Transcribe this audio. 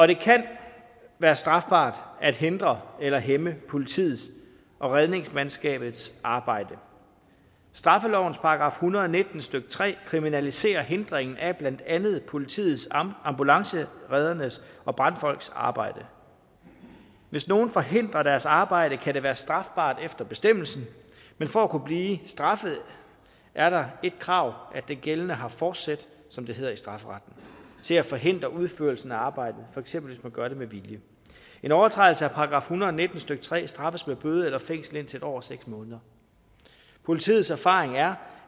det kan være strafbart at hindre eller hæmme politiets og redningsmandskabets arbejde straffelovens § en hundrede og nitten stykke tre kriminaliserer hindringen af blandt andet politiets ambulancereddernes og brandfolks arbejde hvis nogen forhindrer deres arbejde kan det være strafbart efter bestemmelsen men for at kunne blive straffet er der et krav at den gældende har forsæt som det hedder i strafferetten til at forhindre udførelsen af arbejdet for eksempel hvis man gør det med vilje en overtrædelse af § en hundrede og nitten stykke tre straffes med bøde eller fængsel indtil en år og seks måneder politiets erfaring er